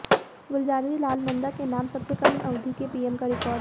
गुलजारी लाल नंदा के नाम सबसे कम अवधि के पीएम का रिकॉर्ड